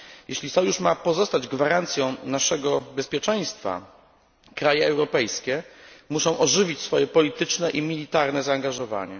Jeśli sojusz ma pozostać gwarancją naszego bezpieczeństwa, kraje europejskie muszą ożywić swoje polityczne i militarne zaangażowanie.